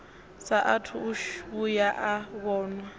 saathu u vhuya a vhonwa